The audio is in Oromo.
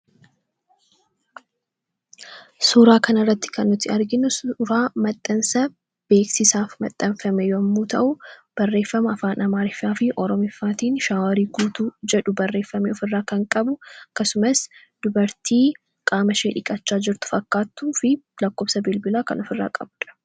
Suuraa kana irratti kan nuti arginu, suuraa maxxansa beeksisaaf maxxanfame yemmuu ta'u, barreeffama Afaan Amaariffaa fi Oromootiin shaaworiin guutuu jedhu barreeffamee ofirraa kan qabu akkasumas dubartii qaama qaama ishee dhiqachaa jirtu fakkaattuu fi lakkoofsa bilbilaa kan ofirraa qabudha.